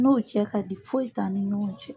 N n'u cɛ ka di foyi t'an ni ɲɔgɔn cɛ.